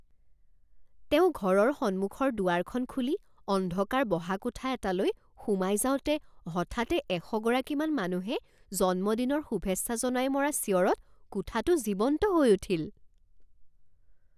তেওঁ ঘৰৰ সন্মুখৰ দুৱাৰখন খুলি অন্ধকাৰ বহা কোঠা এটালৈ সোমাই যাওঁতে হঠাতে এশগৰাকীমান মানুহে জন্মদিনৰ শুভেচ্ছা জনাই মৰা চিঞৰত কোঠাটো জীৱন্ত হৈ উঠিল